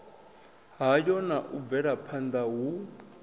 hayo na u bvelaphanda hu